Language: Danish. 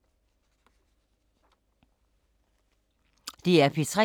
DR P3